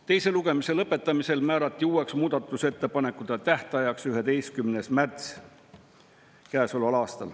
Teise lugemise lõpetamisel määrati uueks muudatusettepanekute tähtajaks käesoleva aasta 11. märts.